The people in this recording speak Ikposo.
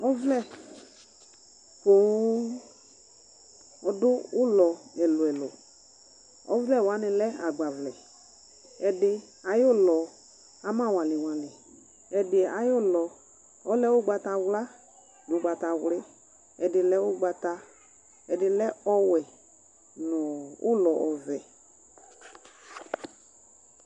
ɔvlɛ poo ɔdu ulɔ ɛlʋ ɛlʋ ɔvlɛ wɔani lɛ agbavlɛ ɛdi awu lɔ ama waliwali ɛdi awu lɔ lɛ ʋgbata ɔwla nu ʋgbata ɔwli ɛdi lɛ ʋgbataɛdi lɛ ɔwɛ nu ʋlɔ ɔvɛ